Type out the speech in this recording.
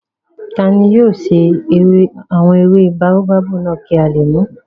Tani yóò ṣe àwọn ewé báóbábù náà kí a lè mùú?